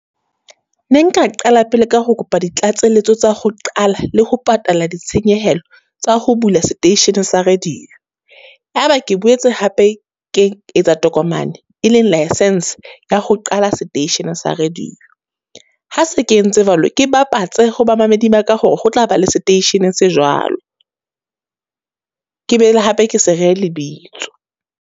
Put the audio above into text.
Ne nka qala pele ka ho kopa di tlatseletso tsa ho qala le ho patala ditshenyehelo tsa ho bula seteishene sa radio. Ya ba ke boetse hape ke etsa tokomane e leng license ya ho qala seteishene sa radio. Ha se ke entse jwalo, ke bapatsa ho bamamedi ba ka hore ho tla ba le seteishenen sa jwalo. Ke boele hape ke se rehe lebitso.